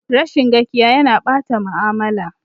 Rashin gakiya ya na ɓata mu'amala